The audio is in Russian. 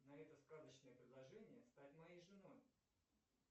на это сказочное предложение стать моей женой